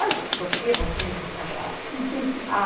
Olha do que vocês escaparam. Ah